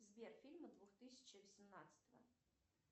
сбер фильмы двух тысячи восемнадцатого